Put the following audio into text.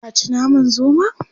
Ka ci naman zomon?